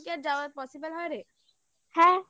সকাল কি আর যাওয়ার possible হ্যাঁ রে